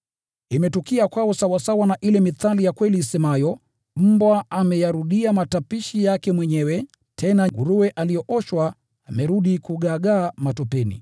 Imetukia kwao sawasawa na ile mithali ya kweli isemayo: “Mbwa huyarudia matapiko yake mwenyewe,” tena, “Nguruwe aliyeoshwa hurudi kugaagaa matopeni.”